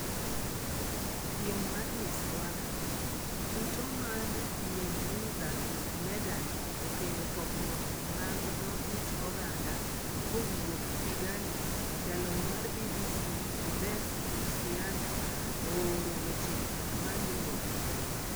Piem mar Miss Rwanda: Yuto mar Nimwiza Meghan okelo pogruok mag dho ut oganda Kowuok Kigali jalony mar BBC Yves Bucyana ooro weche maluwogi.